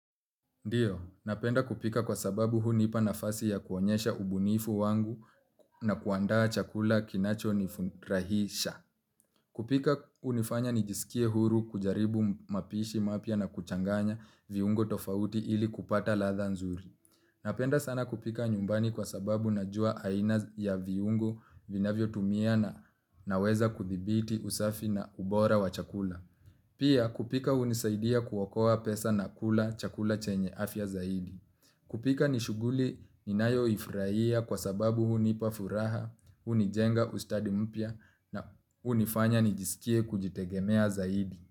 Ndiyo, napenda kupika kwa sababu hunipa nafasi ya kuonyesha ubunifu wangu na kuandaa chakula kinacho nifurahisha. Kupika hunifanya nijisikie huru kujaribu mapishi mapya na kuchanganya viungo tofauti ili kupata ladha nzuri. Napenda sana kupika nyumbani kwa sababu najua aina ya viungo vinavyo tumia na naweza kuthibiti usafi na ubora wa chakula. Pia kupika hunisaidia kuokoa pesa na kula chakula chenye afya zaidi. Kupika ni shughuli inayoifurahia kwa sababu hunipa furaha, hunijenga ustadi mpya na hunifanya nijisikie kujitegemea zaidi.